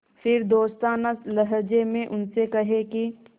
फिर दोस्ताना लहजे में उनसे कहें कि